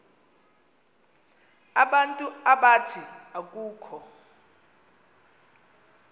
abantu abathi akukho